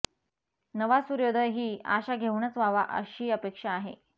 नवा सूर्योदय ही आशा घेऊनच व्हावा अशी अपेक्षा आहे